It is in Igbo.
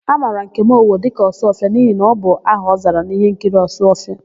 A mara Nkem Owo dịka Ọsụọfịa n'ihi na ọ bụ aha ọ zara n'íhénkiri Ọsụọfịa.